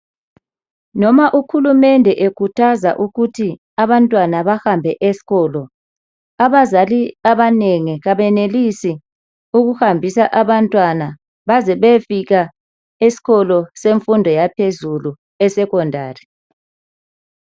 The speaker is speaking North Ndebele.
Noma uhulumende ekhuthaza ukuthi abantwana bahambe esikolo, abazali abanengi kabenelisi ukuhambisa abantwana baze beyefika esikolo semfundo yaphezulu e secondary.